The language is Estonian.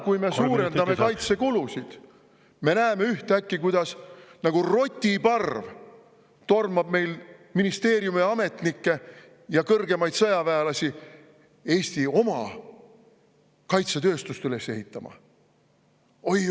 … kui me suurendame kaitsekulusid, me näeme, kuidas ühtäkki nagu rotiparv ministeeriumiametnikke ja kõrgemaid sõjaväelasi tormab Eesti oma kaitsetööstust üles ehitama?